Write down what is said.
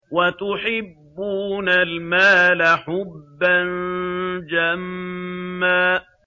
وَتُحِبُّونَ الْمَالَ حُبًّا جَمًّا